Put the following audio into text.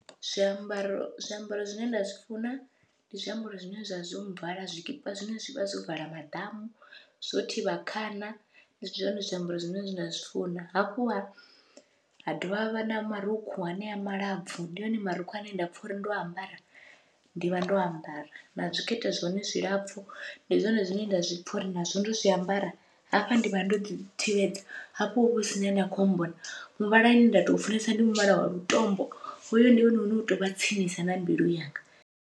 Zwiambaro zwiambaro zwine nda zwi funa ndi zwiambaro zwine zwavha zwo vala, zwikipa zwine zwavha zwo vala maḓamu zwo thivha khana ndi zwone zwiambaro zwine nda zwi funa, hafhu ha ha dovha ha vha na marukhu hanea malapfhu ndi one marukhu ane nda pfha uri ndo ambara ndi vha ndo ambara, na zwikete zwone zwilapfhu ndi zwone zwine nda zwi pfha uri nazwo ndo zwiambara hafha ndi vha ndo ḓi thivhedza, hafho huvha husina ane a kho mmbona. Muvhala une nda to funesa ndi muvhala wa lutombo, hoyo ndi wone une u tovha tsinisa na mbilu yanga.